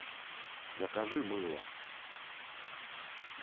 закажи мыло